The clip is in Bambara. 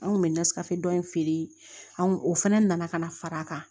An kun bɛ nasira dɔ in feere anw o fana nana ka na fara a kan